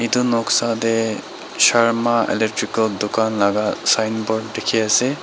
etu noksa dae sharma electrical tucan laka sign board tiki ase.